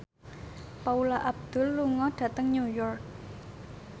Paula Abdul lunga dhateng New York